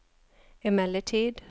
emellertid